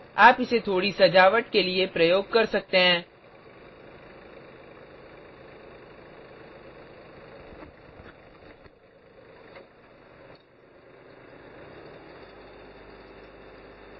आप इसे थोड़ी सजावट के लिए प्रयोग कर सकते हैं